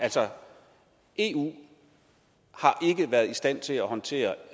altså eu har ikke været i stand til at håndtere